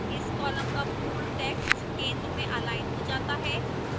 इस column का पूर्ण text centre में अलाइन हो जाता है